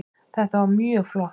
Þetta var mjög flott